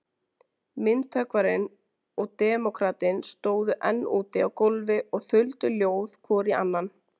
Myndhöggvarinn og demókratinn stóðu enn úti á gólfi og þuldu ljóð hvor í annan.